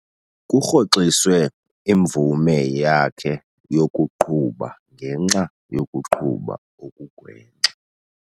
Kurhoxiswe imvume yakhe yokuqhuba ngenxa yokuqhuba okugwenxa.